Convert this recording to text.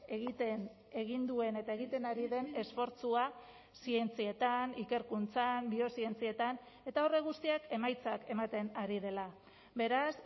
egiten egin duen eta egiten ari den esfortzua zientzietan ikerkuntzan biozientzietan eta horrek guztiak emaitzak ematen ari dela beraz